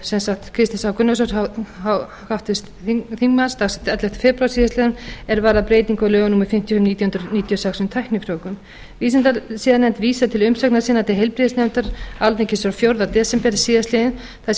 sem sagt kristins h gunnarssonar háttvirtur þingmaður dagsett áttunda febrúar síðastliðinn er varðar breytingu á lögum númer fimmtíu nítján hundruð níutíu og sex um tæknifrjóvgun vísindasiðanefnd vísar til umsagnar sinnar til heilbrigðisnefndar alþingis frá fjórða desember síðastliðnum þar sem fram